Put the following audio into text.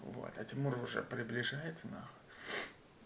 вот а тимур уже приближается на хуй